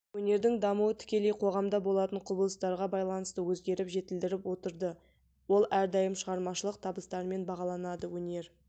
өнердің дамуы тікелей қоғамда болатын құбылыстарға байланысты өзгеріп жетілдіріп отырды ол әрдайым шығармашылық табыстарымен бағаланады өнер